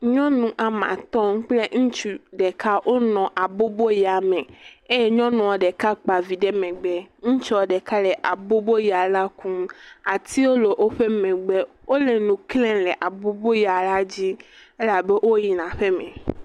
Nyɔnu woame atɔ̃ kple ŋutsu ɖeka wonɔ abɔbɔya me eye nyɔnua ɖeka kpa vi ɖe megbe, ŋutsua ɖeka le abɔbɔya la kum atiwo le wogbe wole nu klem le abɔbɔbya la dzi elabena woyina aƒeme.